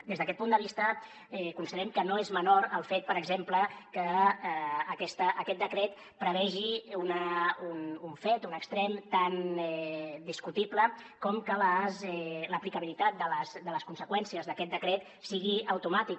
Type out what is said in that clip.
des d’aquest punt de vista considerem que no és menor el fet per exemple que aquest decret prevegi un fet un extrem tan discutible com que l’aplicabilitat de les conseqüències d’aquest decret sigui automàtic